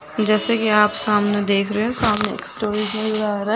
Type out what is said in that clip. जैसा कि आप सामने देख रहे हो सामने आ रा हैं।